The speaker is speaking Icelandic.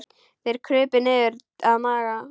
Þeir krupu niður að Magga.